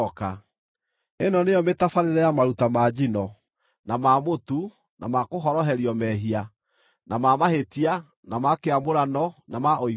Ĩno nĩyo mĩtabarĩre ya maruta ma njino, na ma mũtu, na ma kũhoroherio mehia, na ma mahĩtia, na ma kĩamũrano, na ma ũiguano,